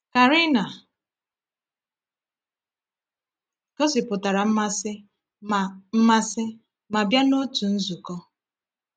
Karina gosipụtara mmasị ma mmasị ma bịa n’otu nzukọ.